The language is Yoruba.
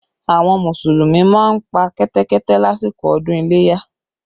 Àwọn Mùsùlùmí máa ń pa Kẹ́tẹ́kẹ́tẹ́ lásìkò ọdún iléyá